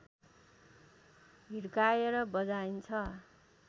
हिर्काएर बजाइन्छ